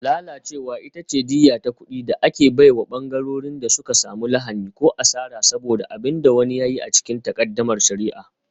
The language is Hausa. Lalacewa ita ce diyya ta kuɗi da ake bai wa ɓangarorin da suka samu lahani ko asara saboda abin da wani ya yi a cikin takaddamar shari'a.